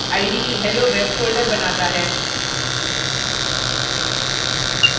ide helloweb folder बनाता है